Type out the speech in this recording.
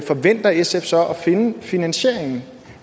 forventer sf så at finde finansieringen